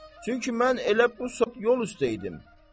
Çünki mən elə bu saat yol üstə idim.